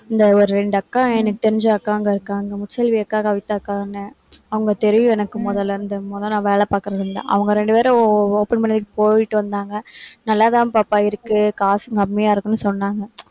இந்த ஒரு ரெண்டு அக்கா எனக்கு தெரிஞ்ச அக்காங்க இருக்காங்க. அக்கா, கவிதா அக்கான்னு. அவுங்க தெரியும் எனக்கு மொதல்ல இருந்து. முத நான் வேலை பாக்குறதுல இருந்து. அவுங்க ரெண்டு பேரும் o~ o~ open பண்ணிட்டு போயிட்டு வந்தாங்க. நல்லா தான் பாப்பா இருக்கு. காசும் கம்மியா இருக்குன்னு சொன்னாங்க